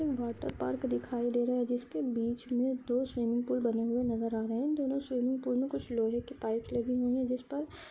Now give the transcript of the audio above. water park दिखाई दे रहा है जिसके बिच मै दो स्विमिंग पूल बने हुए नजर आ रहे है दोनों स्विमिंग पूल मै कुछ लोहे के पाइप लगे हुए है जिस पर